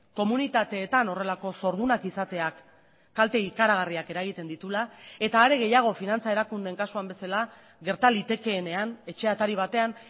komunitateetan horrelako zordunak izateak kalte ikaragarriak eragiten dituela eta are gehiago finantza erakundeen kasuan bezala gerta litekeenean etxe atari batean